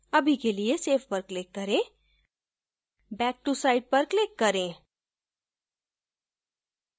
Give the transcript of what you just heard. अभी के लिए save पर click करें back to site पर click करें